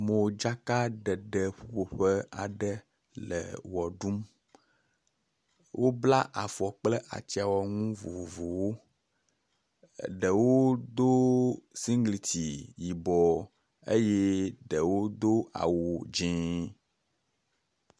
Modzakaɖeɖe ƒuƒoƒe aɖe le ʋe ɖum, wobla afɔ kple atsyãwɔnu vovovowo, eɖewo do siŋgliti yibɔ eye ɖewo do awu dzɛ̃.